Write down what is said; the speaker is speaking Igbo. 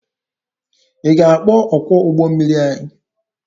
Ị ga-akpọ ọkwọ ụgbọ mmiri anyị?